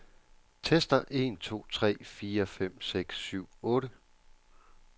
Tester en to tre fire fem seks syv otte.